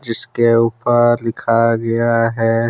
जिसके ऊपर लिखा गया है।